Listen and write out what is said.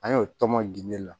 An y'o tɔn ginde la